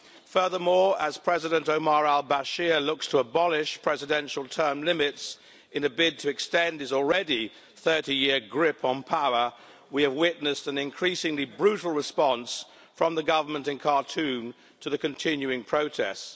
Furthermore, as President Omar al-Bashir looks to abolish presidential term limits in a bid to extend his already 30-year grip on power, we have witnessed an increasingly brutal response from the government in Khartoum to the continuing protests.